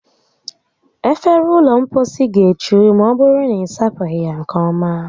Efere ụlọ mposi ga-echu ma ọbụrụ na ị sapụghị ya nke ọma